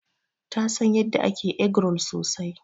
Ta San yanda ake eggroll sosai.